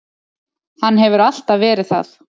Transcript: Hann hefur alltaf verið það.